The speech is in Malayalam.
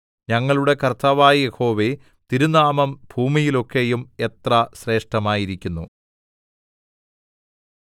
ഞങ്ങളുടെ കർത്താവായ യഹോവേ തിരുനാമം ഭൂമിയിലൊക്കെയും എത്ര ശ്രേഷ്ഠമായിരിക്കുന്നു